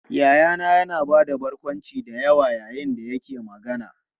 Yayana yana ba da barkwanci da yawa yayin da yake magana.